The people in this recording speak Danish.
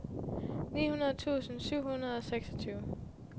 nitten tusind syv hundrede og seksogtyve